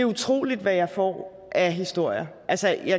utroligt hvad jeg får af historier altså